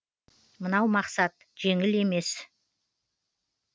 мынау мақсат жеңіс емес